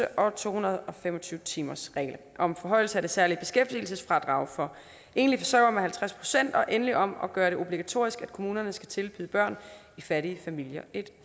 og to hundrede og fem og tyve timersreglen om forhøjelse af det særlige beskæftigelsesfradrag for enlige forsørgere med halvtreds procent og endelig om at gøre det obligatorisk at kommunerne skal tilbyde børn i fattige familier et